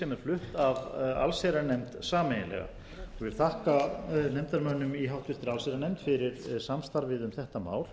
flutt af allsherjarnefnd sameiginlega ég vil þakka nefndarmönnum í háttvirta allsherjarnefnd fyrir samstarfið um þetta mál